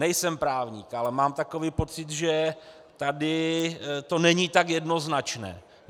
Nejsem právník, ale mám takový pocit, že tady to není tak jednoznačné.